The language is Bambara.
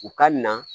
U ka na